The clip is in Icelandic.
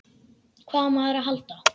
Hvað á maður að halda?